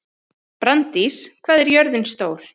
Branddís, hvað er jörðin stór?